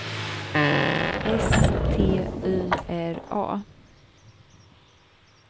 S T Y R A